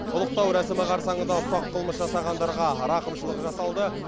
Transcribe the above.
ұлықтау рәсімі қарсаңында ұсақ қылмыс жасағандарға рақымшылық жасалды